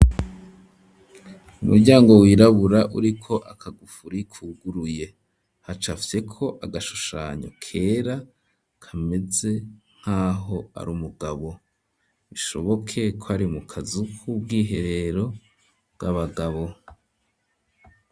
Umuryango wirabura, uriko akagufuri kuguruye, hacafyeko agashushanyo kera kameze nk'aho ari umugabo, bishoboke ko ari mu kazu k'ubwiherero bw'abagabo.